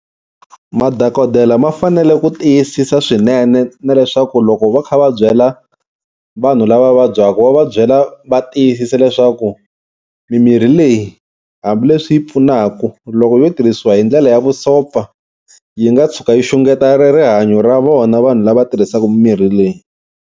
Madokodela ma fanele ku tiyisisa swinene na leswaku loko va kha va byela vanhu lava vabyaka va va byela va tiyisisa leswaku mimirhi leyi hambileswi yi pfunaka loko yo tirhisiwa hi ndlela ya vusopfa yi nga tshuka yi xungeta ri rihanyo ra vona, vanhu lava tirhisaka mimirhi leyi.